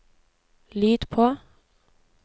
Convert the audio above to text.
lyd på